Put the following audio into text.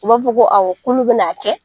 U b'a fɔ ko awɔ k'olu bɛn'a kɛ